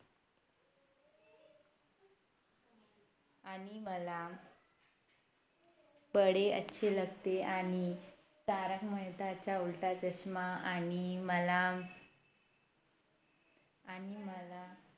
आणि मला बडे अच्छे लगते है आणि तारक मेहता चा उलटा चष्मा आणि मला आणि मला